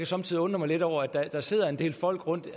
somme tider undre mig lidt over at der sidder en del folk og